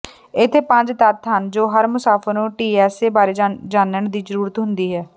ਇੱਥੇ ਪੰਜ ਤੱਥ ਹਨ ਜੋ ਹਰ ਮੁਸਾਫਿਰ ਨੂੰ ਟੀਐਸਏ ਬਾਰੇ ਜਾਣਨ ਦੀ ਜ਼ਰੂਰਤ ਹੁੰਦੀ ਹੈ